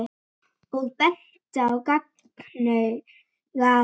og benti á gagnaugað.